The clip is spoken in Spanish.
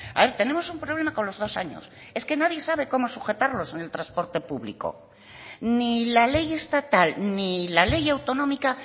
ahora tenemos un problema con los dos años es que nadie sabe cómo sujetarlos en el transporte público ni la ley estatal ni la ley autonómica